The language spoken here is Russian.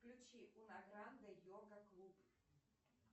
включи унагранде йога клуб